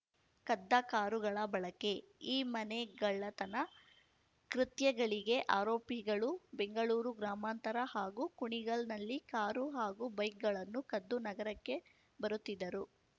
ಕದ್ದ ಕಾರುಗಳ ಬಳಕೆ ಈ ಮನೆಗಳ್ಳತನ ಕೃತ್ಯಗಳಿಗೆ ಆರೋಪಿಗಳು ಬೆಂಗಳೂರು ಗ್ರಾಮಾಂತರ ಹಾಗೂ ಕುಣಿಗಲ್‌ನಲ್ಲಿ ಕಾರು ಹಾಗೂ ಬೈಕ್‌ಗಳನ್ನು ಕದ್ದು ನಗರಕ್ಕೆ ಬರುತ್ತಿದ್ದರು